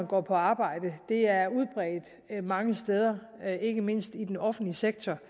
går på arbejde det er udbredt mange steder ikke mindst i den offentlige sektor